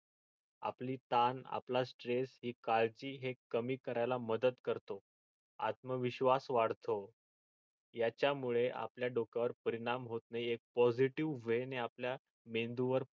आपली तान आपला stress आपली काळजी हे कमी करायला मदत करतो आत्मविश्वास वाढतो याच्या मुळे आपल्या डोक्यावर परिणाम होत नाही एक positive way णि आपल्या मेंदू वर